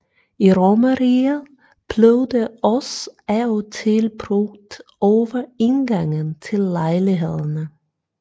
I romerriget blev det også af og til brugt over indgangen til lejlighederne